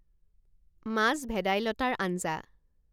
মাছ ভেদাইলতাৰ আঞ্জা